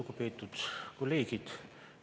Lugupeetud kolleegid!